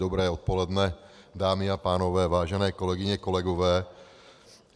Dobré odpoledne, dámy a pánové, vážené kolegyně, kolegové.